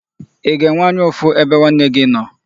Ị ga-enwe anya ụfụ ebe nwanne gị nọ?